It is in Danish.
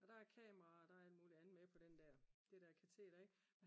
og der er kameraer og der er alt muligt andet med på det der kateter ikke